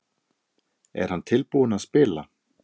Er hann tilbúinn að spila?